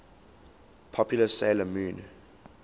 popular 'sailor moon